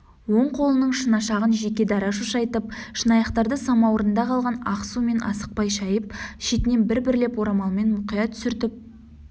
оң қолының шынашағын жеке дара шошайтып шынаяқтарды самауырында қалған ақ сумен асықпай шайып шетінен бір-бірлеп орамалмен мұқият сүртіп